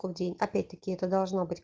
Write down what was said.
мой день опять таки это должно быть